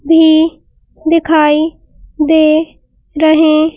भी दिखाई दे रहे --